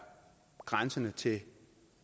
grænsende til det